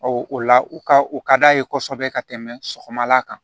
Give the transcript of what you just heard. o la u ka u ka d'a ye kosɛbɛ ka tɛmɛ sɔgɔmala kan